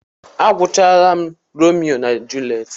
Agwuchaala m Romeo na Julet.